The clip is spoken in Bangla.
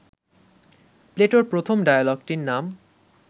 প্লেটোর প্রথম ডায়ালগটির নাম